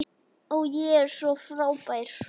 Ó, ég er svo frábær.